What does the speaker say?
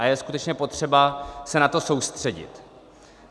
A je skutečně potřeba se na to soustředit.